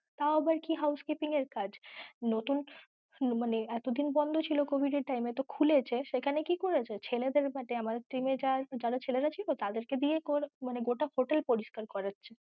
তাও আবার কি housekeeping এর কাজ, নতুন মানে এতদিন বন্ধ ছিল covid এর time এ, তো খুলেছে সেখানে কি করেছে ছেলেদের আমাদের team এ যারা ছেলেরা ছিল তাদের কে দিয়েই মানে গোটা hotel পরিষ্কার করাচ্ছে।